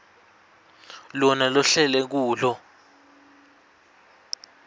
lona lohlele kulo